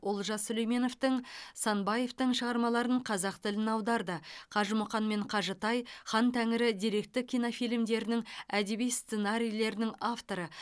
олжас сүлейменовтің санбаевтың шығармаларын қазақ тіліне аударды қажымұқан мен қажытай хан тәңірі деректі кинофильмдерінің әдеби сценарийлерінің авторы